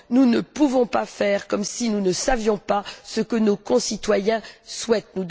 Nous ne pouvons pas faire comme si nous ne savions pas ce que nos concitoyens souhaitent.